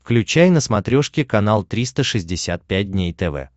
включай на смотрешке канал триста шестьдесят пять дней тв